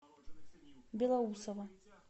белоусово